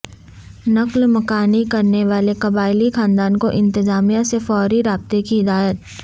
نقل مکانی کرنے والے قبائلی خاندانوں کو انتظامیہ سے فوری رابطے کی ہدایت